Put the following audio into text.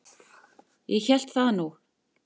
Ég hélt það nú.